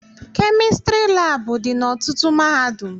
Kemịstrị labụ dị na ọtụtụ mahadum